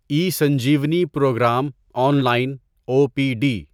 E Sanjeevani programme online O P D